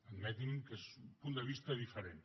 permeti’m que és un punt de vista diferent